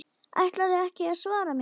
Ætlarðu ekki að svara mér?